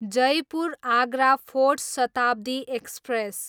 Jaipur, Agra fort Shatabdi express